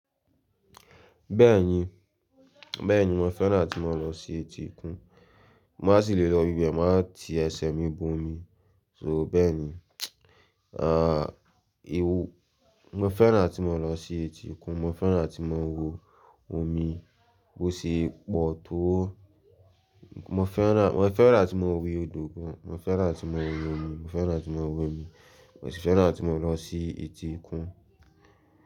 Bẹ́ẹ̀ni, bẹ́ẹ̀ni mo fẹ́ràn tí mo ń lọ sí etíkun. Mo maá sì le lọ ibẹ̀, máa ti ẹsẹ̀ mi bo omi. So bẹ́ẹ̀ni, ah ew-- mo fẹ́ràn atí maa ń lọ sí etíkun, mo fẹ́ràn tí mo ń wo omi bó ṣe pọ̀ tó. Mo fẹ́ràn, mo fẹ́ràn atí maa ń wo odò gan, mo fẹ́ràn atí mo ń wo omi, mo fẹ́ràn atí maa ń wo omi, mo sì fẹ́ràn atí maa ń lọ sí etíkun.